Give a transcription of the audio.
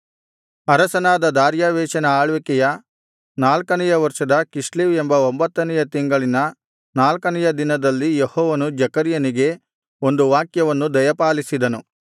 ಅರಸನಾದ ದಾರ್ಯಾವೆಷನ ಆಳ್ವಿಕೆಯ ನಾಲ್ಕನೆಯ ವರ್ಷದ ಕಿಸ್ಲೇವ್ ಎಂಬ ಒಂಭತ್ತನೆಯ ತಿಂಗಳಿನ ನಾಲ್ಕನೆಯ ದಿನದಲ್ಲಿ ಯೆಹೋವನು ಜೆಕರ್ಯನಿಗೆ ಒಂದು ವಾಕ್ಯವನ್ನು ದಯಪಾಲಿಸಿದನು